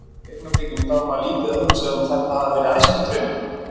Í augnablikinu þá er maður lítið að hugsa um að þetta hafi verið æskudraumur.